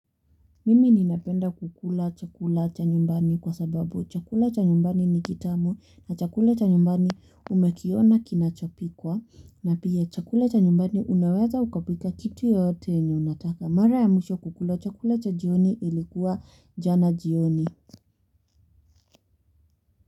Mimi ninapenda kukula chakula cha nyumbani kwa sababu chakula cha nyumbani ni kitamu na chakula cha nyumbani umekiona kinachopikwa na pia chakula cha nyumbani unaweza ukapika kitu yoyote yenye unataka. Mara ya mwisho kukula chakula cha jioni ilikuwa jana jioni.